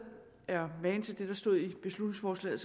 er magen til det der stod i det beslutningsforslag